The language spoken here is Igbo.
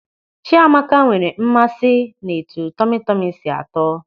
Chiamaka nwere mmasị n'etu tọmi tọmi si atọ.